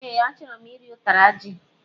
E, achọrọ m iri utara ji